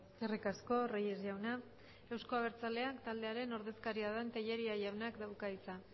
eskerrik asko reyes jauna eusko abertzaleak taldearen den ordezkaria da tellería jaunak dauka hitza